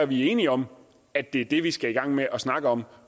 vi er enige om at det er det vi skal i gang med at snakke om